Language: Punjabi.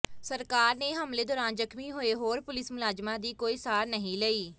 ਸਰਕਾਰ ਨੇ ਹਮਲੇ ਦੌਰਾਨ ਜ਼ਖਮੀਂ ਹੋਏ ਹੋਰ ਪੁਲਿਸ ਮੁਲਾਜਮਾਂ ਦੀ ਕੋਈ ਸਾਰ ਨਹੀਂ ਲਈ